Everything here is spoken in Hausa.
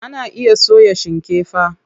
Ana iya soya shikefa.